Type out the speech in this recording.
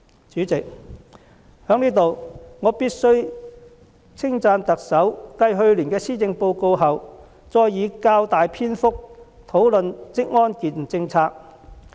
主席，我在此必須稱讚特首繼去年的施政報告後，再以較大篇幅討論職安健政策。